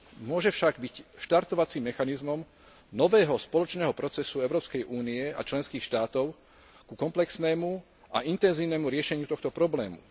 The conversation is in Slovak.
Môže však byť štartovacím mechanizmom nového spoločného procesu Európskej únie a členských štátov ku komplexnému a intenzívnemu riešeniu tohto problému.